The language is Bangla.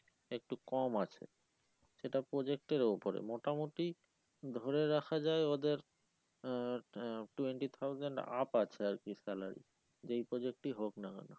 একটু কম আছে সেটা project এর উপরে মোটামুটি ধরে রাখা যায় ওদের আহ আহ twenty thousand up আছে আর কি salary যেই project ই হোক না কেন